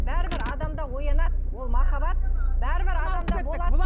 бәрібір адамда оянады ол махаббат бәрібір адамда болады